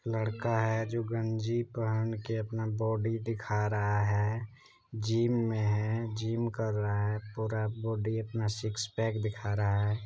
लड़का है जो गंजी पहन के अपना बॉडी दिखा रहा है जिम में है जिम कर रहा है पूरा बॉडी अपना सिक्स पैक दिखा रहा है ।